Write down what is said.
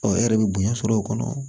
e yɛrɛ bɛ bonya sɔrɔ o kɔnɔ